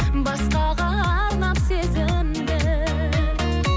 басқаға арнап сезімді